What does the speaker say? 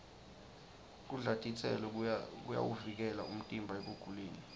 kudla titselo kuyawuvikela umtimba ekuguleni